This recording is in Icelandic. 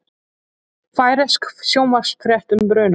Færeysk sjónvarpsfrétt um brunann